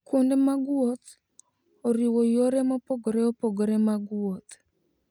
Kuonde mag wuoth oriwo yore mopogore opogore mag wuoth.